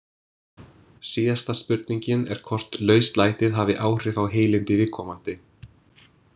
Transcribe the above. Síðasta spurningin er hvort lauslætið hafi áhrif á heilindi viðkomandi.